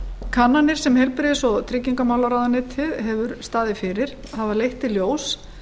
kannanir sem heilbrigðis og tryggingaráðuneytið hefur staðið fyrir hafa leitt í ljós